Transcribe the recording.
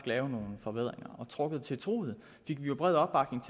lave nogle forbedringer og trukket til truget fik vi jo bred opbakning